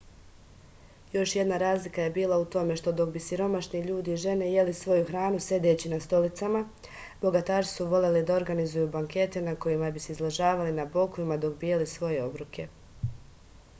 još jedna razlika je bila u tome što dok bi siromašni ljudi i žene jeli svoju hranu sedeći na stolicama bogataši su voleli da organizuju bankete na kojima bi se izležavali na bokovima dok bi jeli svoje obroke